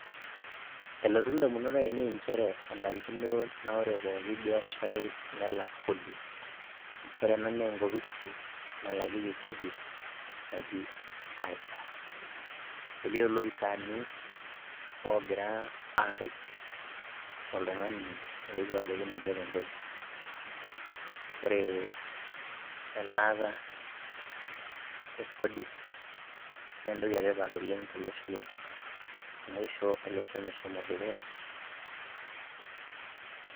Elotu indamunot aainei nchere ore pooki biasharai nelak Kodi . Ore ena naa enkoposi nalakieki Kodi naji iTax. Elio iloopisaini ogira aret oltung'ani ooewu abaiki ninche tenkopisi. Ore elaata e Kodi naa entoki e tipat tolosho lang' amu eisho olosho meshomo dukuya.